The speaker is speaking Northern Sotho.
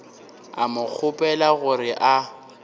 a mo kgopela gore a